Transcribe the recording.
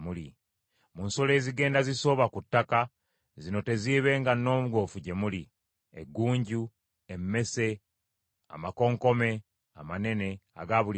“Mu nsolo ezigenda zisoobera ku ttaka; zino teziibenga nnongoofu gye muli: eggunju, emmese, amakonkome amanene aga buli ngeri;